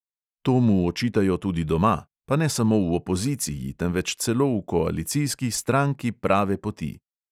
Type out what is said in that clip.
To mu očitajo tudi doma, pa ne samo v opoziciji, temveč celo v koalicijski stranki prave poti.